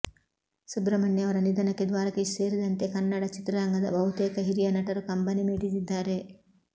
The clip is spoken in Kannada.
ಸುಬ್ರಮಣ್ಯ ಅವರ ನಿಧನಕ್ಕೆ ದ್ವಾರಕೀಶ್ ಸೇರಿದಂತೆ ಕನ್ನಡ ಚಿತ್ರರಂಗದ ಬಹುತೇಕ ಹಿರಿಯ ನಟರು ಕಂಬನಿ ಮಿಡಿದಿದ್ದಾರೆ